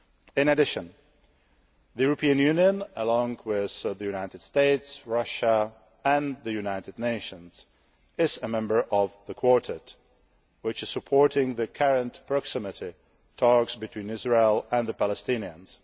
In addition, the European Union along with the United States, Russia and the United Nations is a member of the Quartet, which is supporting the current proximity talks between Israel and the Palestinians.